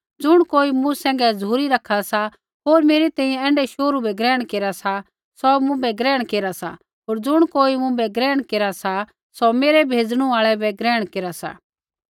ज़ुण कोई मूँ सैंघै झ़ुरी रखा सा होर मेरी तैंईंयैं ऐण्ढै शोहरू बै ग्रहण केरा सा सौ मुँभै ग्रहण केरा सा होर ज़ुण कोई मुँभै ग्रहण केरा सा सौ मेरै भेजणु आल़ै बै ग्रहण सा